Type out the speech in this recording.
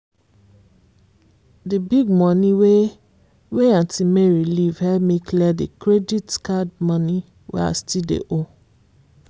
the big money wey wey aunt mary leave help me clear the credit card money wey i still dey owe.